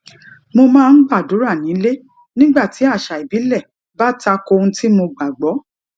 mo máa ń gbàdúrà nílé nígbà tí àṣà ìbílè bá ta ko ohun tí mo gbà gbó